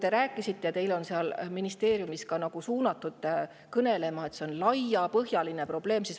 Te räägite, et see on laiapõhjaline probleem, teid on seal ministeeriumis niiviisi kõnelema.